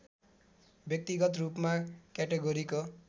व्यक्तिगत रूपमा क्याटेगोरीको